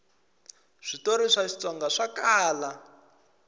switori swa xitsonga swa kala